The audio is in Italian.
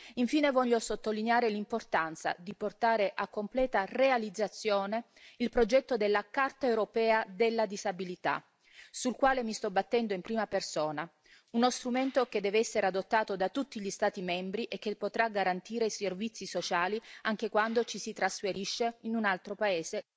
Infine, voglio sottolineare l'importanza di portare a completa realizzazione il progetto della Carta europea della disabilità, sul quale mi sto battendo in prima persona, uno strumento che deve essere adottato da tutti gli Stati membri e che potrà garantire i servizi sociali anche quando ci si trasferisce in un altro paese.